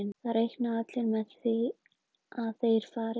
Það reikna allir með því að þeir fari upp.